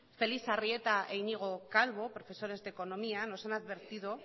félix arrieta e iñigo calvo profesores de economía nos han advertido